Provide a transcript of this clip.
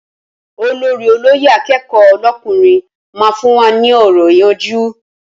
Olórí olóyè akẹ́kọ̀ọ́ lọ́kùnrin máa fún wa ní ọ̀rọ̀ ìyànjú